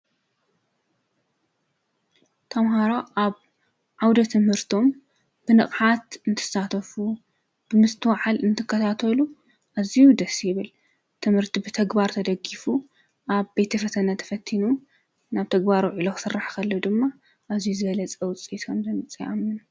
ተምሃሮ ኣብ ዓውደ ትምህርቶም ብንቕሓት እንትሳተፉ ብምስተዋዓል እንትከታተሉ እዙዩ ደሲይብል ትምህርቲ ብተግባሩ ተደጊፉ ኣብ ቤቲ ፈተነ ተፈቲኑ ናብ ተግባሩ ኢለዉ ሠራሕኸለ ድማ እዙይ ዘለ ጸውጽይሰም ምጽምን።